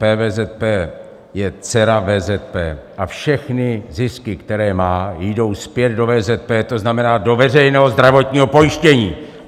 PVZP je dcera VZP a všechny zisky, které má, jdou zpět do VZP, to znamená do veřejného zdravotního pojištění!